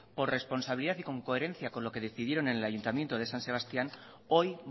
por responsabilidad y con coherencia con lo que decidieron en el ayuntamiento de san sebastián hoy